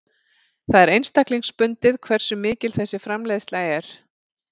Það er einstaklingsbundið hversu mikil þessi framleiðsla er.